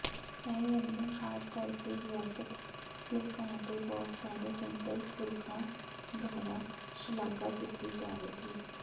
ਇਹ ਵਿਅੰਜਨ ਖਾਸ ਕਰਕੇ ਵਿਅਸਤ ਲੋਕਾਂ ਅਤੇ ਬਹੁਤ ਸਾਰੇ ਸਿੰਗਲ ਪੁਰਖਾਂ ਦੁਆਰਾ ਸ਼ਲਾਘਾ ਕੀਤੀ ਜਾਵੇਗੀ